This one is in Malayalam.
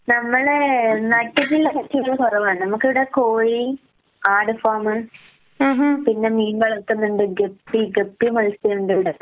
നമ്മള് നട്ടിട്ടുള്ള കൃഷിയെല്ലാം കൊറവാണ് നമുക്കിവിടെ കോഴി, ആട് ഫാമ്, പിന്നെ മീന്‍ വളർത്തുന്നുണ്ട് ഗപ്പി ഗപ്പി മത്സ്യം ഉണ്ട് ഇവിടെ